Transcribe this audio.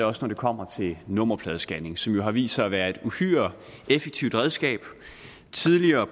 også når det kommer til nummerpladescanning som jo har vist sig at være et uhyre effektivt redskab tidligere